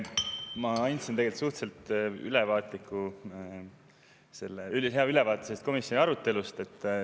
Ma andsin tegelikult suhteliselt ülevaatliku, ülihea ülevaate komisjoni arutelust.